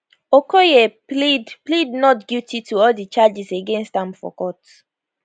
okoye plead plead not guilty to all di charges against am for court